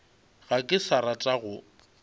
ga ke sa rata go